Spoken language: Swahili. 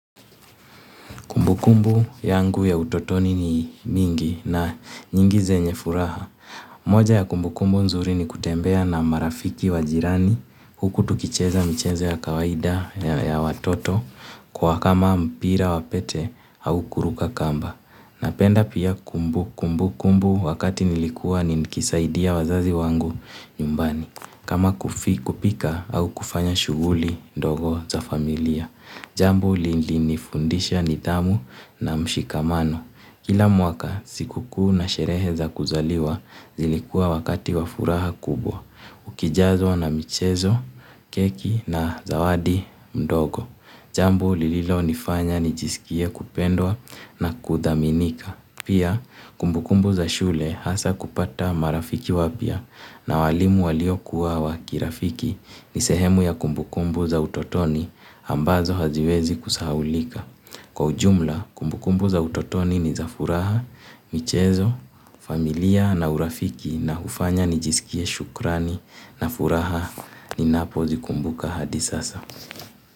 Kumbu kumbu yangu ya utotoni ni mingi na nyingi zenye furaha. Moja ya kumbu kumbu nzuri ni kutembea na marafiki wajirani huku tukicheza mchezo ya kawaida ya watoto kwa kama mpira wapete au kuruga kamba. Napenda pia kumbu kumbu kumbu wakati nilikuwa nikisaidia wazazi wangu nyumbani. Kama kupika au kufanya shuguli ndogo za familia. Jambu lilinifundisha nitamu na mshikamano. Kila mwaka sikuku na sherehe za kuzaliwa zilikua wakati wafuraha kubwa. Ukijazwa na michezo, keki na zawadi mdogo. Jambo lililo nifanya nijisikie kupendwa na kudhaminika. Pia kumbukumbu za shule hasa kupata marafiki wapia na walimu walio kuwa wakirafiki ni sehemu ya kumbukumbu za utotoni ambazo haziwezi kusahaulika. Kwa ujumla kumbukumbu za utotoni ni za furaha, michezo, familia na urafiki na ufanya nijisikie shukrani na furaha ninapo zikumbuka hadi sasa.